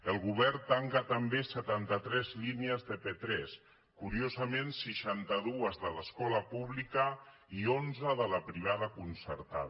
el govern tanca també setanta tres línies de p3 curiosament seixanta dues de l’escola pública i onze de la privada concertada